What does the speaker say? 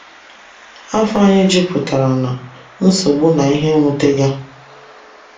Áfò anyị juputara na “nsogbu na ihe nwutega.”